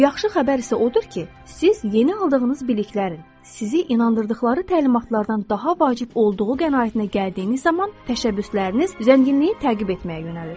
Yaxşı xəbər isə odur ki, siz yeni aldığınız biliklərin sizi inandırdıqları təlimatlardan daha vacib olduğu qənaətinə gəldiyiniz zaman təşəbbüsləriniz zənginliyi təqib etməyə yönəlir.